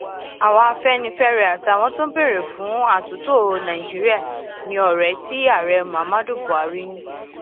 àwa afẹnifẹre àtàwọn tó ń béèrè fún àtúntò nàíjíríà ní ọrẹ tí ààrẹ mohammadu buhari ní